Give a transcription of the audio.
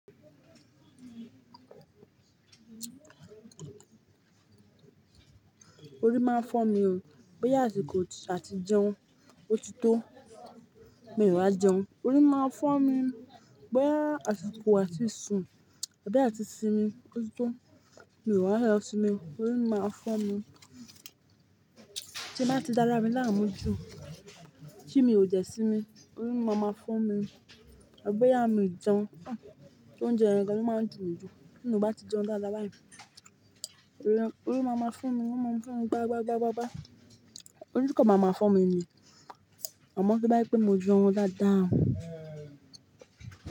Orí máa ń fọ́ mi o, bóyá àsìkò a ti jẹun ó ti tó, mi ò wá jẹun, orí máa fọ́ mi. Bóyá àsìkò a ti sùn àbí a ti simi ó ti tó, mi ò wá lọ sinmi, orí máa fọ́ mi. Tí a bá ti dára mi láàmú jù, tí mi ò dẹ̀ sinmi, orí máa ma fọ́ mi. Tàbí bóyá mi ò jẹun, tó ń jẹ yẹn gan, ó máa ń dùn mí jù, tí mi ò bá ti jẹun dáadáa bá yi. Orí máa ma fọ́ mi, orí máa ma fọ́ mi, gbangba, gbangba, gbangba. Orí kò máa ma fọ́ mi ni, àmọ́ tó bá jẹ́ pé mo jẹun dáadáa.